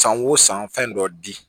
San o san fɛn dɔ di